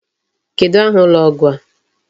Kedụ aha ụlọ ọgwụ a?